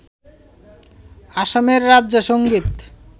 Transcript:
অসমের রাজ্য সঙ্গীত